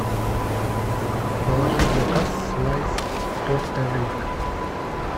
положи в заказ слайс торта рейк